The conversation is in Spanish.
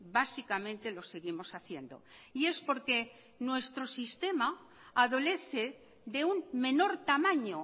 básicamente lo seguimos haciendo y es porque nuestro sistema adolece de un menor tamaño